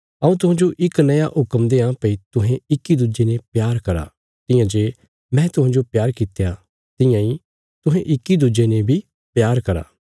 हऊँ तुहांजो इक नया हुक्म देआं भई तुहें इक्की दुज्जे ने प्यार करा तियां जे मैं तुहांजो प्यार कित्या तियां इ तुहें इक्की दुज्जे ने बी प्यार करा